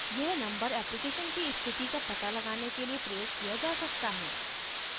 यह number application की स्थिति का पता लगाने के लिए प्रयोग किया जा सकता है